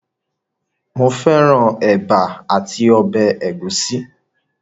Mo fẹ́ran ẹ̀bà àti ọbẹ̀ ẹ̀gúsí